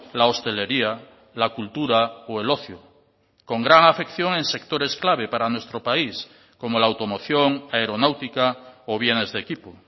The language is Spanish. la hostelería la cultura o el ocio con gran afección en sectores clave para nuestro país como la automoción aeronáutica o bienes de equipo